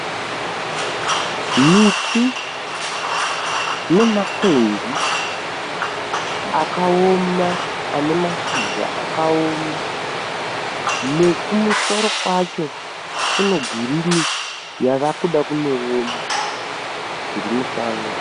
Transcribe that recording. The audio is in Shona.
Miti nemakwenzi akaoma ane mashizha akaoma nekumusoro kwacho kune girini yava kuda kunooma zvirimusango.